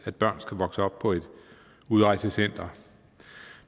at børn skal vokse op på et udrejsecenter